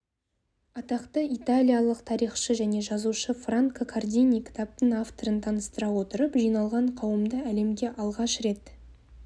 атақты италиялық тарихшы және жазушы франко кардини кітаптың авторын таныстыра отырып жиналған қауымды әлемде алғаш рет